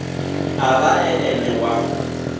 a vha e ene wa